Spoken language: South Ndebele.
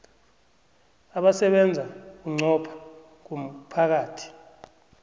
abasebenza bunqopha ngomphakathi